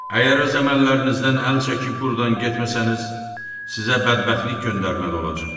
Əgər öz əməllərinizdən əl çəkib buradan getməsəniz, sizə bədbəxtlik göndərməli olacam.